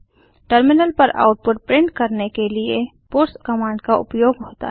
terminal पर output print करने के लिए पट्स कमांड का उपयोग होता है